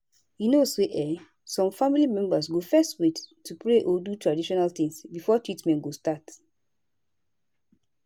you know say[um]some family members go fezz wait to pray or do traditional tins before treatment go start